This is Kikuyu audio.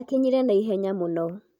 akinyire naihenya mũno